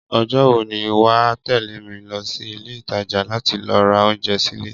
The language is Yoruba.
Ọjọ́ wo ni wà á tẹ̀lé mi lọ sí Ilé-ìtajà láti lọ ra oúnjẹ sílé?